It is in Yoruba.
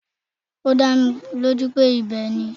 Ó dá mi lójú pé ibẹ̀ ni.